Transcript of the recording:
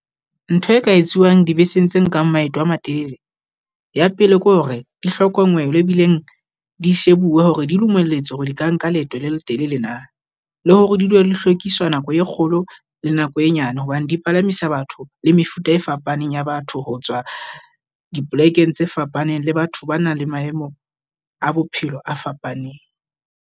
Ntho e ka etsuwang dibeseng tse nkang maeto a matelele, ya pele ke hore di hlokongelwe ebileng di shebuwe hore di dumelletswe hore di ka nka leeto le letelele na. Le hore di dilo di hlwekisa nako e kgolo le nako e nyane, hobane di palamisa batho le mefuta e fapaneng ya batho ho tswa di plekeng tse fapaneng. Le batho ba nang le maemo a bophelo a fapaneng.